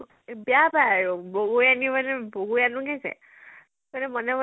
বেয়া পায় আৰু বগৰী আনিম আনিম মানে বগৰী আনো গে যে মনে মনে